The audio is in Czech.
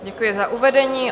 Děkuji za uvedení.